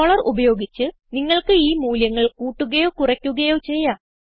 scroller ഉപയോഗിച്ച് നിങ്ങൾക്ക് ഈ മൂല്യങ്ങൾ കൂട്ടുകയോ കുറയ്ക്കുകയോ ചെയ്യാം